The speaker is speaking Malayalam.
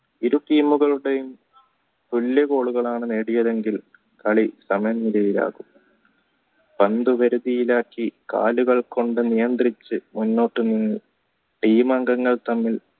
ഇരു team മുകളും തുല്യ goal ലുകളാണ് നേടിയതെങ്കിൽ കളി സമനിലയിലാകും പന്തു വരുതിയിലാക്കി കാലുകൾ കൊണ്ട് നിയധ്രിച് മുന്നോട്ട് team അംഗങ്ങൾ